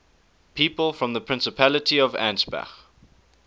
people from the principality of ansbach